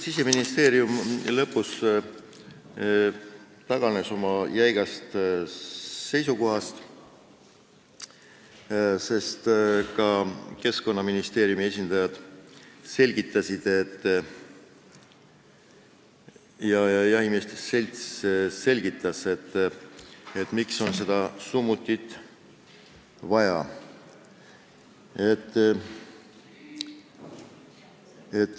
Siseministeerium taganes lõpuks oma jäigast seisukohast, sest ka Keskkonnaministeeriumi ja jahimeeste seltsi esindajad selgitasid, miks on summutit vaja.